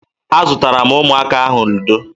Azụtara m ụmụaka ahụ ludo